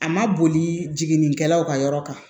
A ma boli jiginnikɛlaw ka yɔrɔ kan